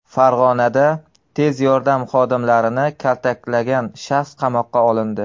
Farg‘onada tez yordam xodimlarini kaltaklagan shaxs qamoqqa olindi.